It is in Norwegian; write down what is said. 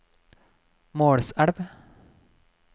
Målselv